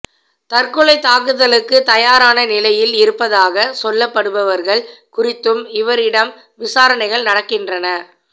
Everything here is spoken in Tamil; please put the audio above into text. தற்கொலை தாக்குதலுக்கு தயாரான நிலையில் இருப்பதாக சொல்லப்படுபவர்கள் குறித்தும் இவரிடம் விசாரணைகள் நடக்கின்றன